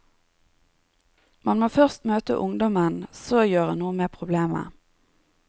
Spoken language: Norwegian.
Man må først møte ungdommen, så gjøre noe med problemet.